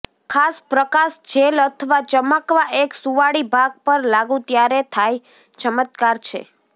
ખાસ પ્રકાશ જેલ અથવા ચમકવા એક સુંવાળી ભાગ પર લાગુ ત્યારે થાય ચમત્કાર છે